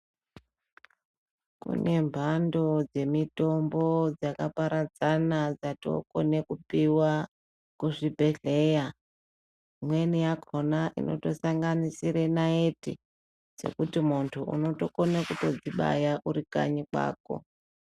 Kune mhando dzemitombo dzakaparadzana dzatokone kupiwa kuzvibhehleya imweni yakona inotosanganisire naiti dzekuti muntu unokone kutodzibaya uri kanyi kwako.